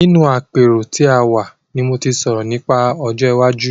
Nínú àpérò tí a wà ni mo ti sọ̀rọ̀ nípa ọjọ́ iwájú.